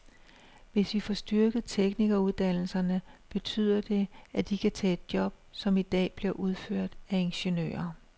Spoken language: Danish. Hvis vi får styrket teknikeruddannelserne, betyder det, at de kan tage job, som i dag bliver udført af ingeniører.